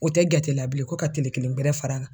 O tɛ jate la bilen ko ka kile kelen gɛrɛ far'a kan.